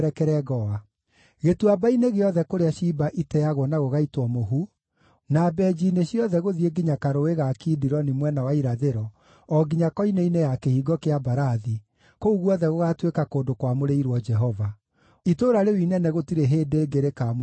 Gĩtuamba-inĩ gĩothe kũrĩa ciimba iteagwo na gũgaitwo mũhu, na mbenji-inĩ ciothe gũthiĩ nginya Karũũĩ ga Kidironi mwena wa irathĩro o nginya koine-inĩ ya Kĩhingo kĩa Mbarathi, kũu guothe gũgaatuĩka kũndũ kwamũrĩirwo Jehova. Itũũra rĩu inene gũtirĩ hĩndĩ ĩngĩ rĩkamunywo kana rĩmomorwo.”